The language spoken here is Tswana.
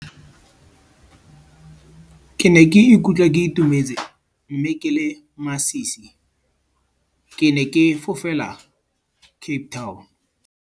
Ke ne ke ikutlwa ke itumetse mme ke le masisi. Ke ne ke fofela Cape Town.